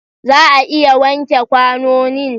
Za a iya wanke kwanonin?